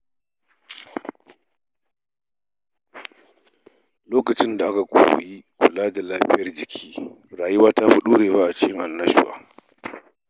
Lokacin da aka koyi kula da lafiyar jiki, rayuwa ta fi ɗorewa cikin annashuwa.